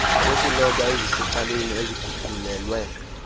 zokuloba ezisecaleni eziguqulelwe